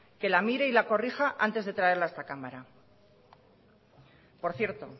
que la mire y la corrija antes de traerla a esta cámara por cierto